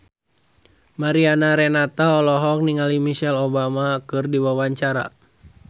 Mariana Renata olohok ningali Michelle Obama keur diwawancara